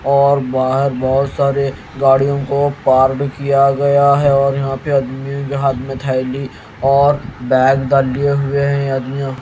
और बाहर बहोत सारे गाड़ियों को पार्ड किया गया है और यहां पर आदमी के हाथ में थैली और बैग डाले हुए हैं आदमियों--